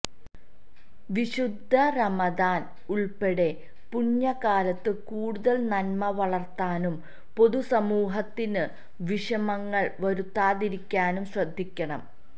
വിശുദ്ധ റമദാന് ഉള്പ്പെടെ പുണ്യകാലത്ത് കൂടുതല് നന്മ വളര്ത്താനും പൊതുസമൂഹത്തിനു വിഷമങ്ങള് വരുത്താതിരിക്കാനും ശ്രദ്ധിക്കണം